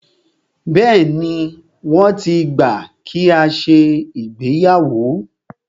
Bẹ́ẹ̀ni, wọ́n ti gbà kí a ṣe ìgbéyàwó.